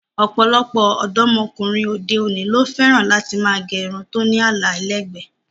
Ọ̀pọ̀lọpọ̀ ọ̀dọ́ ọkùnrin òde-òní ló fẹ́ràn láti máa gẹ irun tó ní àlà ẹlẹ́gbẹ̀ẹ́.